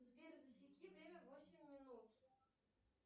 сбер засеки время восемь минут